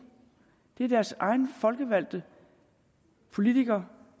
det er deres egne folkevalgte politikere